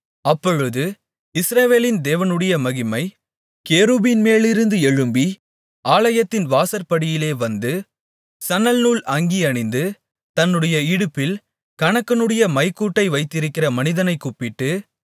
அப்பொழுது இஸ்ரவேலின் தேவனுடைய மகிமை கேருபீன்மேலிருந்து எழும்பி ஆலயத்தின் வாசற்படியிலே வந்து சணல்நூல் அங்கி அணிந்து தன்னுடைய இடுப்பில் கணக்கனுடைய மைக்கூட்டை வைத்திருக்கிற மனிதனைக் கூப்பிட்டு